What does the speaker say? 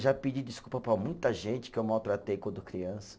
Já pedi desculpa para muita gente que eu maltratei quando criança.